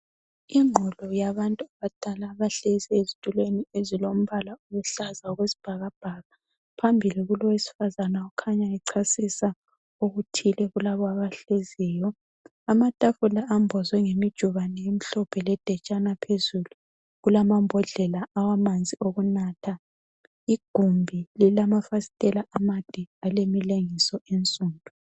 Ingqulu yabantu abadala abahlezi ezitulweni ezilombala oluhlaza okwesibhakabhaka. Phambili kulowesifazana okhanya echasisa okuthile kulabo abahleziyo. Amatafula ambozwe ngemijubane emhlophe ledetshana phezulu. Kulamambodlela awamanzi okunatha. Igumbi lilamafasitela amade alemilengiso ensundu.